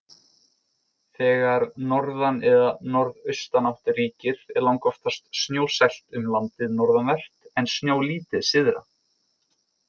Þegar norðan- eða norðaustanátt ríkir er langoftast snjóasælt um landið norðanvert, en snjólítið syðra.